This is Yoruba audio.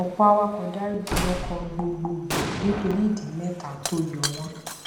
ọpọ awakọ daríjì ọkọ gbogbogbò nítorí ìdí mẹta tó yọ wón